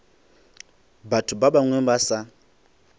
batho ba bangwe ba sa